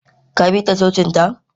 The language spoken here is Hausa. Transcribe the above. ka bi ta cocinta?